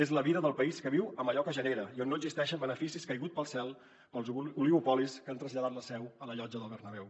és la vida del país que viu amb allò que genera i on no existeixen beneficis caiguts del cel per als oligopolis que han traslladat la seu a la llotja del bernabéu